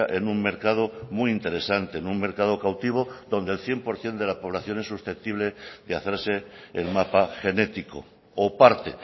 en un mercado muy interesante en un mercado cautivo donde el cien por ciento de la población es susceptible de hacerse el mapa genético o parte